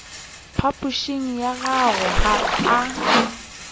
phapošing ya gagwe ga a